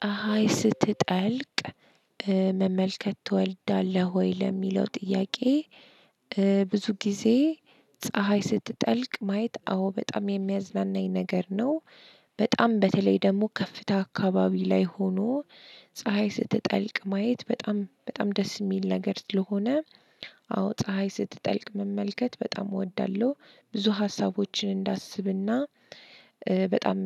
"ፀሀይ ስትጠልቅ መመልከት ትወልዳለህ ወይ?" ለሚለው ጥያቄ ብዙ ጊዜ ፀሀይ ስትጠልቅ ማየት አዎ በጣም የሚያዝናናኝ ነገር ነው። በጣም በተለይ ደግሞ ከፍታ አካባቢ ላይ ሆኖ ፀሀይ ስትጠልቅ ማየት በጣም በጣም ደስ የሚል ነገር ስለሆነ አዎ ፀሀይ ስትጠልቅ መመልከት በጣም እወዳለሁ። ብዙ ሀሳቦችን እንዳስብና በጣም